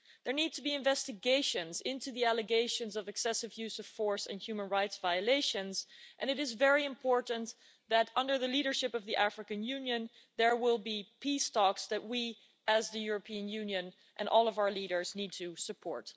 There need to be investigations into the allegations of excessive use of force and human rights violations, and it is very important that, under the leadership of the African Union, there will be peace talks that we, as the European Union and all of our leaders, need to support.